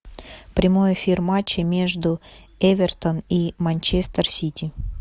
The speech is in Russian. прямой эфир матча между эвертон и манчестер сити